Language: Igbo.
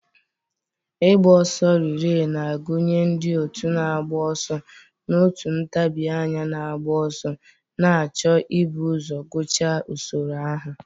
ịgba ọsọ relee na-agụnye ndị otu na-agba ọsọ n'otu ntabi anya na-agba ọsọ, na-achọ ibu ụzọ gụchaa usoro ahụ.